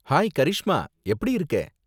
Hi Karishma, எப்படி இருக்க?